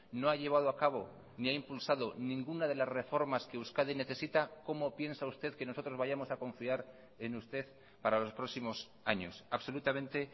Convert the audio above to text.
no ha llevado a cabo ni ha impulsado ninguna de las reformas que euskadi necesita cómo piensa usted que nosotros vayamos a confiar en usted para los próximos años absolutamente